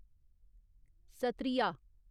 Sattriya